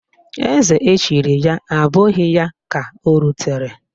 Eze echiri ya abụghị ya ka o rutere